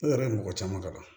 Ne yɛrɛ ye mɔgɔ caman kalan